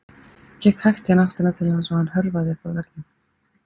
Ég gekk hægt í áttina til hans og hann hörfaði upp að veggnum.